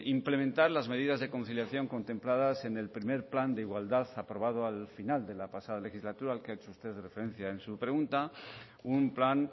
implementar las medidas de conciliación contempladas en el primero plan de igualdad aprobado al final de la pasada legislatura al que ha hecho usted referencia en su pregunta un plan